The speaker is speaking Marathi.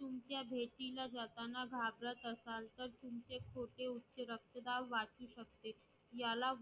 तुमच्या भेटीला जाताना घाबरत असाल तर तुमचे छोटे उच्च रक्तदाब वाचू शकते याला